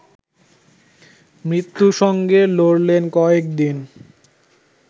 মৃত্যুর সঙ্গে লড়লেন কয়েক দিন